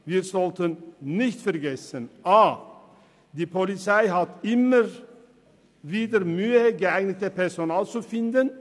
Wir sollten nicht vergessen, dass die Polizei immer wieder Mühe hat, geeignetes Personal zu finden.